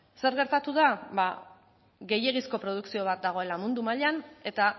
zer gertatu da ba gehiegizko produkzio bat dagoela mundu mailan eta